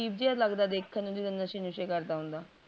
ਅਜੀਬ ਜੇਆ ਲੱਗਦਾ ਦੇਖਣ ਨੂਂ ਜਿਦਾਂ ਨਸੈ ਨੁਸ਼ੈ ਕਰਦਾ ਹੁੰਦਾ ਵਾ